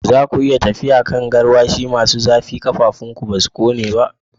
Za ku iya tafiya a kan garwashi masu zafi, ƙafafunku ba su kone ba?